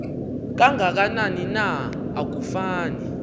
kangakanani na akufani